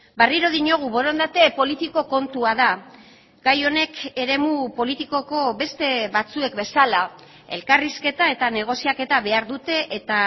berriro diogu borondate politiko kontua da gai honek eremu politikoko beste batzuek bezala elkarrizketa eta negoziaketa behar dute eta